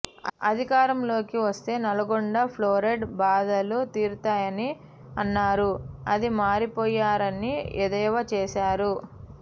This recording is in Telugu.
అధికారం లోకి వస్తే నల్గొండ ప్లోరైడ్ బాధలు తీరుతాయని అన్నారు అది మారిపోయారని ఎద్దేవా చేశారు